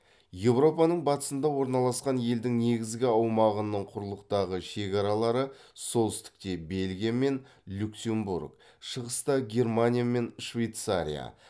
еуропаның батысында орналасқан елдің негізгі аумағының құрылықтағы шекаралары солтүстікте бельгия мен люксембург шығыста германия мен швейцария